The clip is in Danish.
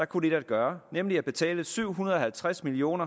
kun ét at gøre nemlig at betale syv hundrede og tres million